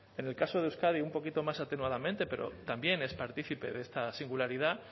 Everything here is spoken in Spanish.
en el caso de euskadi un poquito más atenuadamente pero también es partícipe de esta singularidad